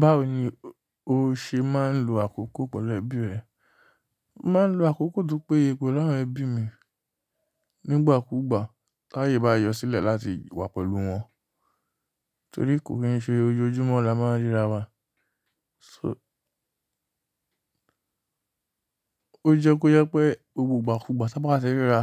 Báwo ni o ṣe máa ń lo àkókò pẹ̀lú ẹbí rẹ? Máa ń lo àkókò tó péye pẹ̀lú àwọn ẹbí mi nígbà kúgbà táyé bá yọ sílẹ̀ láti wà pẹ̀lú wọn, torí kò kí n ṣe ojoojúmọ́ la máa ń ríra wa so. Ó jẹ́ kó jẹ́ pé gbogbo igba kúgbà ta bá tí ríra,